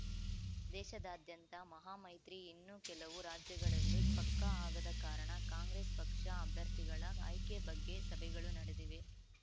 ದೇಶದಾದ್ಯಂತ ಮಹಾ ಮೈತ್ರಿ ಇನ್ನೂ ಕೆಲವು ರಾಜ್ಯಗಳಲ್ಲಿ ಪಕ್ಕಾ ಆಗದ ಕಾರಣ ಕಾಂಗ್ರೆಸ್ ಪಕ್ಷ ಅಭ್ಯರ್ಥಿಗಳ ಆಯ್ಕೆ ಬಗ್ಗೆ ಸಭೆಗಳು ನಡೆದಿವೆ